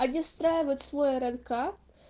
они встраивают свой рнк